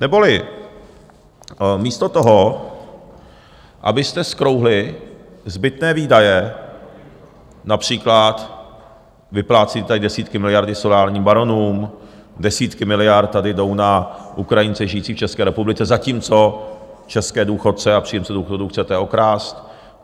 Neboli místo toho, abyste zkrouhli zbytné výdaje, například vyplácíte tady desítky miliard solárním baronům, desítky miliard tady jdou na Ukrajince žijící v České republice, zatímco české důchodce a příjemce důchodů chcete okrást.